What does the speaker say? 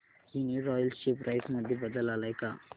Uniroyal share price मध्ये बदल आलाय का